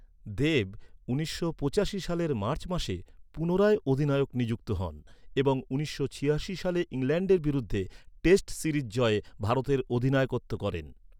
দেব উনিশশো পঁচাশি সালের মার্চ মাসে পুনরায় অধিনায়ক নিযুক্ত হন এবং উনিশশো ছিয়াশি সালে ইংল্যান্ডের বিরুদ্ধে টেস্ট সিরিজ জয়ে ভারতের অধিনায়কত্ব করেন।